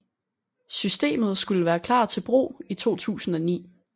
Systemet skulle være klar til brug i 2009